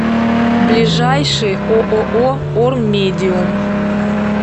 ближайший ооо ормедиум